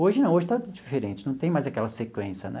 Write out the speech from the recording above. Hoje não, hoje está diferente, não tem mais aquela sequência, né?